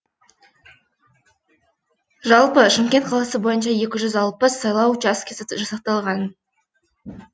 жалпы шымкент қаласы бойынша екі жүз алпыс сайлау учаскесі жасақталған